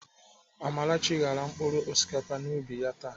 Amarachi ghara mkpụrụ osikapa n'ubi ya taa.